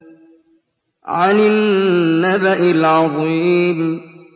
عَنِ النَّبَإِ الْعَظِيمِ